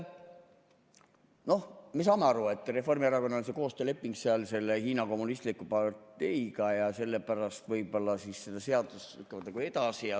Noh, me saame aru, et Reformierakonnal on koostööleping Hiina Kommunistliku Parteiga ja sellepärast võib-olla nad lükkavadki seda seadust muudkui edasi.